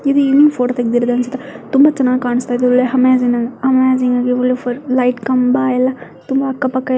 ಇದು evening photo ತೆಗೆದಿರೋದು ಅನಿಸುತ್ತೆ ತುಂಬಾ ಚನ್ನಾಗಿ ಕಾಣಿಸ್ತಾ ಇದೆ ಒಳ್ಳೆ ಅಮೇಜಿಂಗ್ ಲೈಟ್ ಕಂಬ ಎಲ್ಲಾ ತುಂಬಾ ಅಕ್ಕ ಪಕ್ಕ --